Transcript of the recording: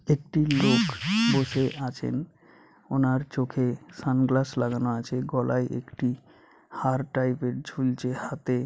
একটি লোক বসে আছেন ওনার চোখে সানগ্লাস লাগানো আছে গলায় একটি হার টাইপ - এর ঝুলছে হাতে ।